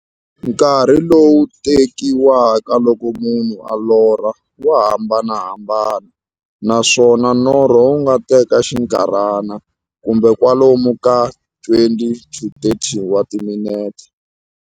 Nkarhi lowu tekiwaka loko munhu a lorha, wa hambanahambana, naswona norho wu nga teka xinkarhana, kumbe kwalomu ka 20-30 wa timinete.